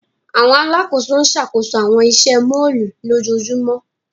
Awọn alakoso n ṣakoso awọn iṣẹ mọllu lojoojumọ.